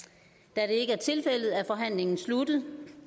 da det ikke er tilfældet er forhandlingen sluttet